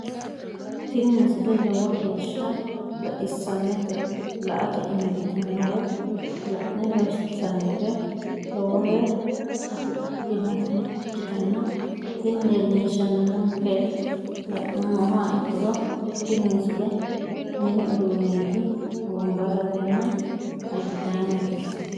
tini misile lowo geeshsha baxissannote la"ate injiitanno woy la'ne ronsannire lowote afidhinota ikkitanna tini leellishshannonkeri la'nummoha ikkiro tini misile mini uduunneeti wombarratenna agidaamete.